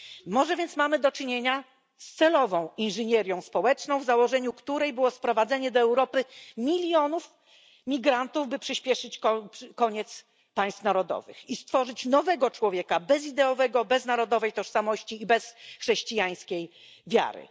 Może więc mamy do czynienia z celową inżynierią społeczną, w założeniu której było sprowadzenie do Europy milionów migrantów, by przyśpieszyć koniec państw narodowych i stworzyć nowego człowieka bezideowego, bez narodowej tożsamości i bez chrześcijańskiej wiary.